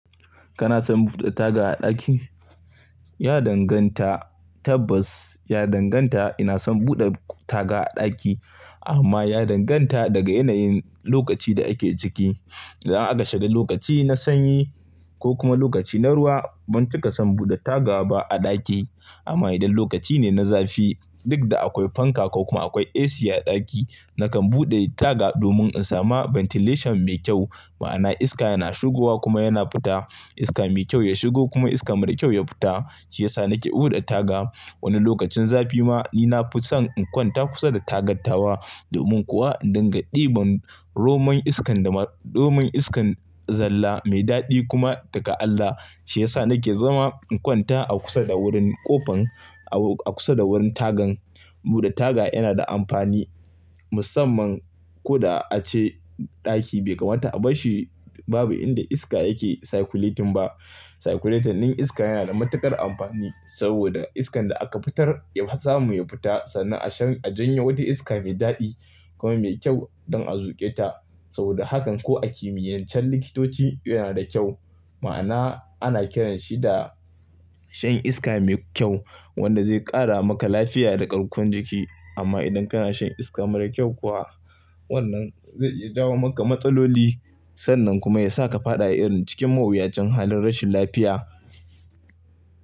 Kana son buɗe taga a ɗaki? Ya danganta. Tabbas ya danganta. Ina son buɗe taga a ɗaki amma ya danganta daga yanayin lokaci, da ake ciki. Idan aka shiga lokaci na sanyi, ko kuma lokaci na ruwa, ban cika son buɗe taga ba a ɗaki. Amma idan lokaci ne na zafi, duk da akwai fanka ko kuma akwai AC a ɗaki, nakan buɗe taga domin in samu ventilation mai kyau. Ma'ana iska yana shigowa kuma yana fita. Iska mai kyau ya shigo kuma iska mara kyau ya fita, shi ya sa nake buɗe taga. Wani lokacin zafi ma ni na fi son in kwanta kusa da tagattawa domin kuwa in dinga diban romon iskan dama, romon iskan zalla mai daɗi kuma daga Allah. Shi ya sa nake zama in kwanta a kusa da wurin ƙofan, a kusa da wurin tagan. Buɗe taga yana da amfani musamman ko da ace ɗaki, bai kamata a bashi babu inda iska yake circulating ba. Circulating iska yana da matuƙar amfani saboda iskan da aka fitar ya samu ya fita sannan a janye wata iska mai daɗi kuma mai kyau don a zuƙe ta. Saboda hakan ko a kimiyancan likitoci yana da kyau, ma'ana ana kiranshi da shan iska mai kyau, wanda zai ƙara maka lafiya da ƙarkon jiki. Amma idan kana shan iska mara kyau kuwa, wannan zai iya jawo maka matsaloli sannan kuma ya sa ka fada irin cikin mawuyacin halin rashin lafiya.